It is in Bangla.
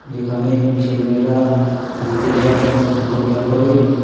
যেখানে ছেলে মেয়েরা ঘুরতে যায় নৌকা বিহার করে ।